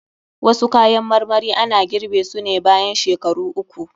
Wasu kayan marmari ana girɓe su ne bayan shekaru uku.